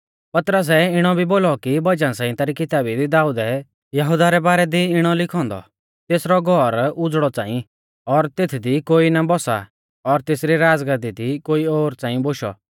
पतरसै इणौ भी बोलौ कि भजन संहिता री किताबी दी दाऊदै यहुदा रै बारै दी इणौ लिखौ औन्दौ तेसरौ घौर उझ़ड़ौ च़ांई और तेथदी कोई ना बौसा और तेसरी राज़गादी दी कोई ओर च़ांई बोशौ